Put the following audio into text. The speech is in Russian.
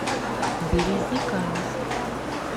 березниками